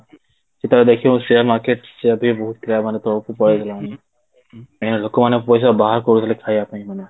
interest ସେମାନେ ସେତକ ଦେଖିବ share ମାର୍କେଟ ସେ ଯଦି ବହୁତ ଏଇନା ଲୋକ ମାନେ ପଇସା କରିଦେଲେ ଖାଇବା ପାଇଁ ଏଇନା